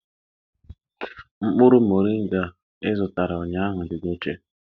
Mkpụrụ moringa ị zụtara ụnyahụ dị n'oche.